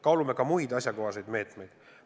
Kaalume ka muid asjakohaseid meetmeid.